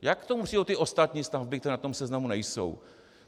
Jak k tomu přijdou ty ostatní stavby, které na tom seznamu nejsou?